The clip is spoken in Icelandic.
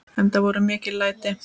Enda voru mikil læti.